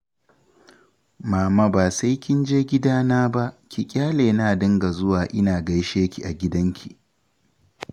Mama ba sai kin je gidana ba, ki ƙyale na dinga zuwa ina gaishe ki a gidanki